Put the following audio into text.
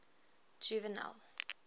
juvenal